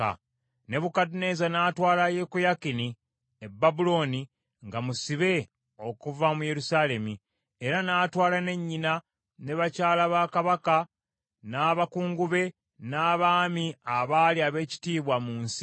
Nebukadduneeza n’atwala Yekoyakini e Babulooni nga musibe okuva mu Yerusaalemi, era n’atwala ne nnyina, ne bakyala ba kabaka, n’abakungu be, n’abaami abaali ab’ekitiibwa mu nsi.